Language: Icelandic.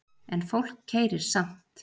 En fólk keyrir samt